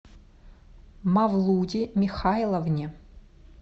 мавлуде михайловне